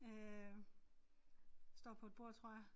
Øh står på et bord tror jeg